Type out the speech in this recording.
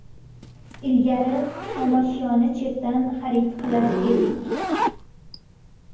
Ilgari xomashyoni chetdan xarid qilar edik.